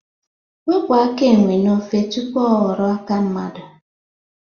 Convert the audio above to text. Wepụ aka enwe n'ofe tụpụ ọ ghọrọ aka mmadụ